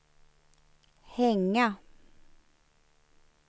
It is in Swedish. hänga